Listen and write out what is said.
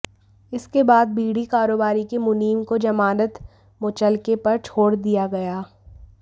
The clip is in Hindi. इसके बाद बीड़ी कारोबारी के मुनीम को जमानत मुचलके पर छोड़ दिया गया